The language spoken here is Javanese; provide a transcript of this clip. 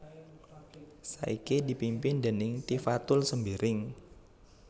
saiki dipimpin déning Tifatul Sembiring